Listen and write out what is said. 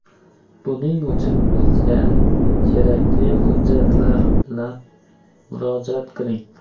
Buning uchun bizga kerakli hujjatlar bilan murojaat qiling!